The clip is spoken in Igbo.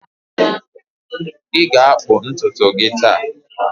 Ị ga-akpụ ntutu gị taa?